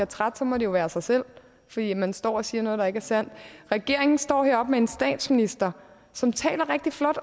træt må det jo være af sig selv fordi man står og siger noget der ikke er sandt regeringen står heroppe med en statsminister som taler rigtig flot